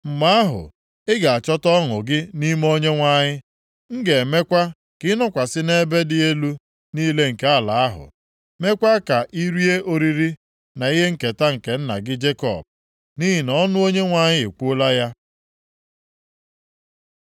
mgbe ahụ, ị ga-achọta ọṅụ gị nʼime Onyenwe anyị, m ga-emekwa ka ịnọkwasị nʼebe dị elu niile nke ala ahụ, meekwa ka irie oriri na ihe nketa nke nna gị Jekọb.” Nʼihi na ọnụ Onyenwe anyị ekwuola ya.